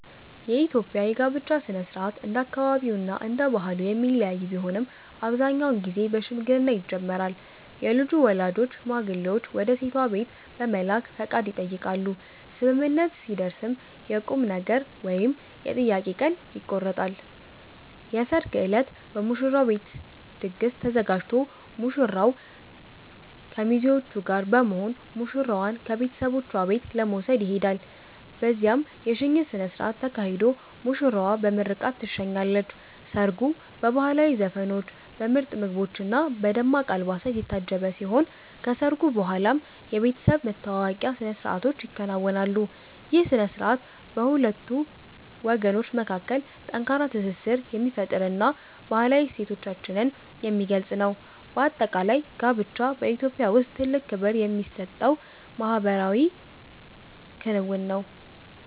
የኢትዮጵያ የጋብቻ ሥነ ሥርዓት እንደየአካባቢውና እንደየባህሉ የሚለያይ ቢሆንም፣ አብዛኛውን ጊዜ በሽምግልና ይጀምራል። የልጁ ወላጆች ሽማግሌዎችን ወደ ሴቷ ቤት በመላክ ፈቃድ ይጠይቃሉ፤ ስምምነት ሲደረስም የቁምነገር ወይም የጥያቄ ቀን ይቆረጣል። የሰርግ ዕለት በሙሽራው ቤት ድግስ ተዘጋጅቶ ሙሽራው ከሚዜዎቹ ጋር በመሆን ሙሽራዋን ከቤተሰቦቿ ቤት ለመውሰድ ይሄዳል። በዚያም የሽኝት ሥነ ሥርዓት ተካሂዶ ሙሽራዋ በምርቃት ትሸኛለች። ሰርጉ በባህላዊ ዘፈኖች፣ በምርጥ ምግቦችና በደማቅ አልባሳት የታጀበ ሲሆን፣ ከሰርጉ በኋላም የቤተሰብ መተዋወቂያ ሥነ ሥርዓቶች ይከናወናሉ። ይህ ሥነ ሥርዓት በሁለት ወገኖች መካከል ጠንካራ ትስስር የሚፈጥርና ባህላዊ እሴቶቻችንን የሚገልጽ ነው። በአጠቃላይ፣ ጋብቻ በኢትዮጵያ ውስጥ ትልቅ ክብር የሚሰጠው ማኅበራዊ ክንውን ነው።